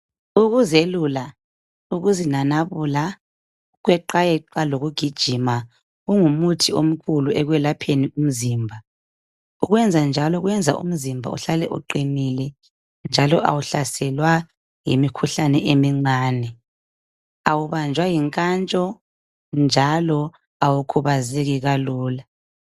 Ukuzelula, ukuzinanabula, ukweqayeqa lokugijima kungumuthi omkhulu ekwelapheni umzimba. Ukwenzanjalo kwenza umzimba uhlale uqinile njalo awuhlaselwa yimikhuhlane emincane, awubanjwa yinkantsho njalo awukhubazeki kalula.